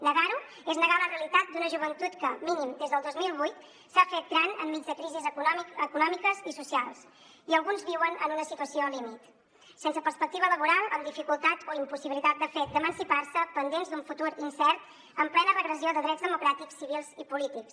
negar ho és negar la realitat d’una joventut que mínim des del dos mil vuit s’ha fet gran enmig de crisis econòmiques i socials i alguns viuen en una situació límit sense perspectiva laboral amb dificultat o impossibilitat de fet d’emancipar se pendents d’un futur incert en plena regressió de drets democràtics civils i polítics